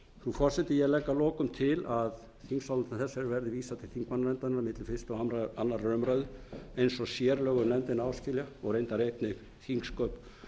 forseti ég legg að lokum til að þingsályktun þessari verði vísað til þingmannanefndarinnar milli fyrstu og annarrar umræðu eins og sérlög um nefndina áskilja og reyndar einnig þingsköp